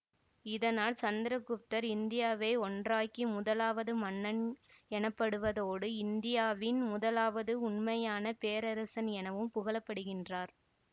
இதனால் சந்திர குப்தர் இந்தியாவை ஒன்றாக்கி முதலாவது மன்னன் எனப்படுவதோடு இந்தியாவின் முதலாவது உண்மையான பேரரசன் எனவும் புகழப்படுகின்றார்